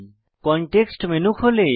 context menu খোলে